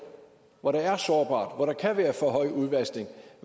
hvor der er sårbart og hvor der kan være for høj udvaskning